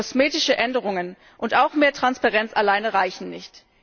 Kosmetische Änderungen und auch mehr Transparenz alleine reichen nicht.